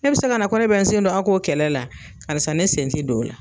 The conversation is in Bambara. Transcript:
E bi se ka na ko ne bɛ n sen don a k'o kɛlɛ la karisa ne sen ti don o la.